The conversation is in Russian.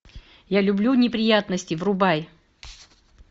я люблю неприятности врубай